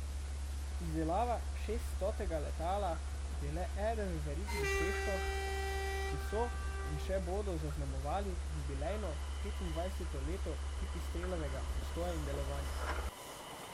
Izdelava šeststotega letala je le eden v verigi dosežkov, ki so in še bodo zaznamovali jubilejno petindvajseto leto Pipistrelovega obstoja in delovanja.